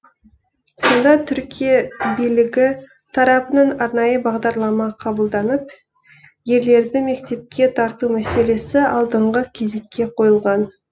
сонда түркия билігі тарапынан арнайы бағдарлама қабылданып ерлерді мектепке тарту мәселесі алдыңғы кезекке қойылған